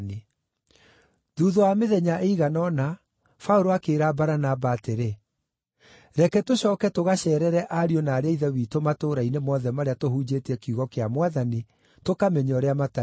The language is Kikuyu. Thuutha wa mĩthenya ĩigana ũna, Paũlũ akĩĩra Baranaba atĩrĩ, “Reke tũcooke tũgaceerere ariũ na aarĩ a Ithe witũ matũũra-inĩ mothe marĩa tũhunjĩtie kiugo kĩa Mwathani, tũkamenye ũrĩa matariĩ.”